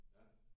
Ja